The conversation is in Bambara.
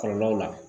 Kɔlɔlɔw la